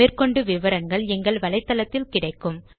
மேற்கொண்டு விவரங்கள் எங்கள் வலைத்தளத்தில் கிடைக்கும்